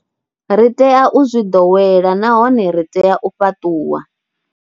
Ri tea u zwi ḓowela nahone ri tea u fhaṱuwa.